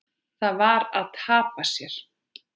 Það var að tapa sér.